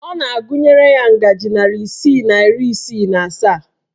Ọ na-agụnyere ya ngajị narị isii na iri isii na asaa